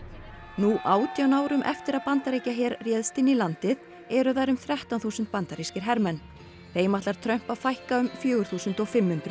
nú átján árum eftir að Bandaríkjaher réðst inn í landið eru þar um þrettán þúsund bandarískir hermenn þeim ætlar Trump fækka um fjögur þúsund fimm hundruð